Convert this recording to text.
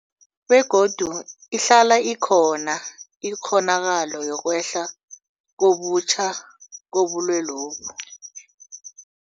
Begodu ihlala ikhona ikghonakalo yokwehla kabutjha kobulwelobu.